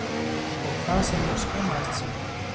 Og það sem hún skammaðist sín!